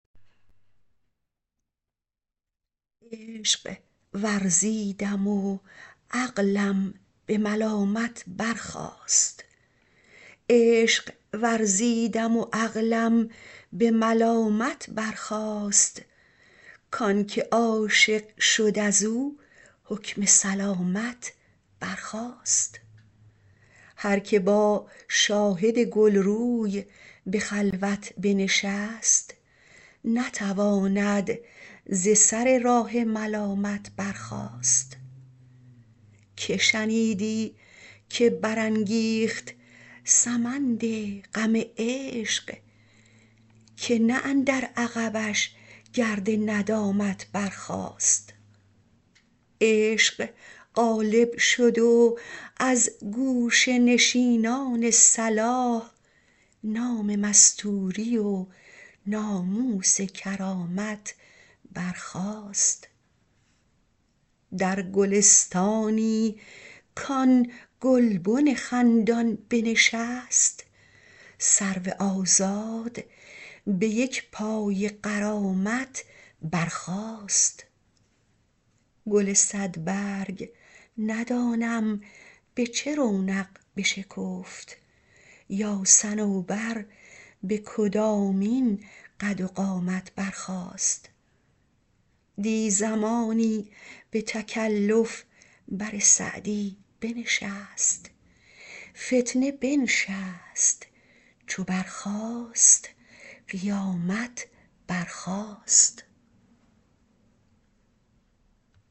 عشق ورزیدم و عقلم به ملامت برخاست کان که عاشق شد از او حکم سلامت برخاست هر که با شاهد گل روی به خلوت بنشست نتواند ز سر راه ملامت برخاست که شنیدی که برانگیخت سمند غم عشق که نه اندر عقبش گرد ندامت برخاست عشق غالب شد و از گوشه نشینان صلاح نام مستوری و ناموس کرامت برخاست در گلستانی کآن گلبن خندان بنشست سرو آزاد به یک پای غرامت برخاست گل صدبرگ ندانم به چه رونق بشکفت یا صنوبر به کدامین قد و قامت برخاست دی زمانی به تکلف بر سعدی بنشست فتنه بنشست چو برخاست قیامت برخاست